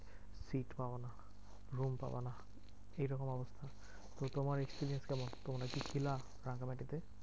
Seat পাবানা room পাবানা এরকম অবস্থা। তো তোমার experience কেমন? তোমরা কি ছিলা রাঙামাটিতে?